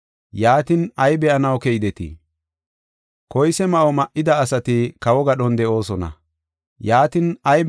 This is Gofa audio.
Yaatin, ay be7anaw keydetii? Koyse ma7o ma7ida ase be7anaseyee? Koyse ma7o ma7ida asati kawo gadhon de7oosona.